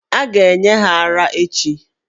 A ga-enye ha ara echi.